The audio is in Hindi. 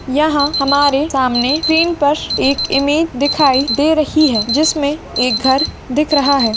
यहां हमारे सामने स्क्रीन पर एक इमेज दिखाई दे रही है जिसमें एक घर दिख रहा है।